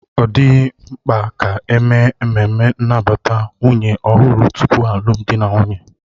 Ọ dịghị mkpa ka eme ememme nnabata nwunye ọhụrụ tupu alụmdi na nwunye